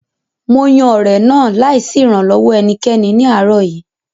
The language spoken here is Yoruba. Mo yan ọ̀rẹ̀ náà láì sí ìrànlọ́wọ́ ẹnikẹ́ni ní àárọ̀ yìí